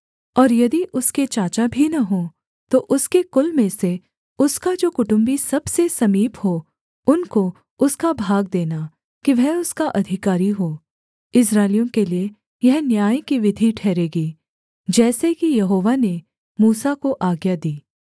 और यदि उसके चाचा भी न हों तो उसके कुल में से उसका जो कुटुम्बी सबसे समीप हो उनको उसका भाग देना कि वह उसका अधिकारी हो इस्राएलियों के लिये यह न्याय की विधि ठहरेगी जैसे कि यहोवा ने मूसा को आज्ञा दी